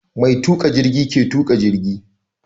Mai tuƙa jirgi ke tuƙa jigi.